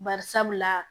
Bari sabula